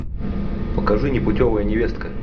покажи непутевая невестка